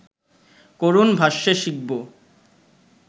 করুণ ভাষ্যে শিখব